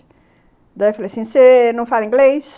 Daí eu falei assim, você não fala inglês?